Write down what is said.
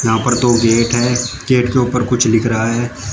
उपर दो गेट है गेट के ऊपर कुछ लिख रहा है।